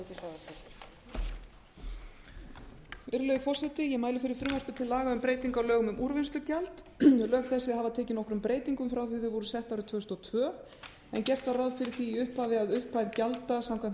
á lögum um úrvinnslugjald lög þessi hafa tekið nokkrum breytingum frá því að þau voru sett árið tvö þúsund og tvö en gert var ráð fyrir því í upphafi að upphæð gjalda samkvæmt